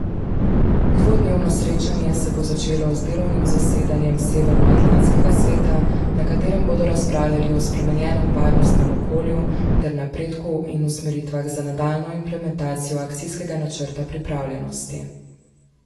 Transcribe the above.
Dvodnevno srečanje se bo začelo z delovnim zasedanjem Severnoatlantskega sveta, na katerem bodo razpravljali o spremenjenem varnostnem okolju ter napredku in usmeritvah za nadaljnjo implementacijo Akcijskega načrta pripravljenosti.